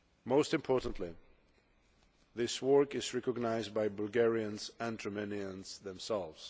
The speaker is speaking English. Most importantly, this work is recognised by Bulgarians and Romanians themselves.